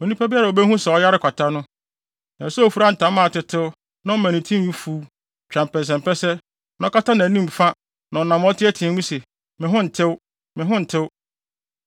“Onipa biara a wobehu sɛ ɔyare kwata no, ɛsɛ sɛ ofura ntama a atetew na ɔma ne tinwi fuw, twa mpɛsɛmpɛsɛ na ɔkata nʼanim fa na ɔnam a ɔteɛteɛ mu se, ‘Me ho ntew! Me ho ntew!’